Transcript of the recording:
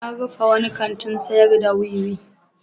An rufe wani kantin sayar da wiwi.